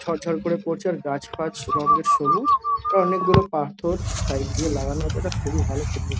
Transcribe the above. ঝর ঝর করে পড়ছে। আর গাছ ফাছ রঙ্গের সবুজ। আর অনেক গুলো পাথর সাইড দিয়ে লাগানো আছে । একটা খুবই ভাল ছবি।